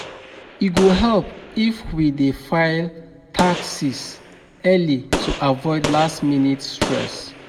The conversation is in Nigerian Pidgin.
E go help if we dey file taxes early to avoid last-minute stress.